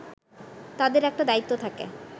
তাদের একটা দায়িত্ব থাকে